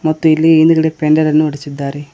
ಮತ್ತು ಇಲ್ಲಿ ಹಿಂದ್ಗಡೆ ಪೆಂಡಾಲ್ ಅನ್ನು ಹೊಡೆಸಿದ್ದಾರೆ.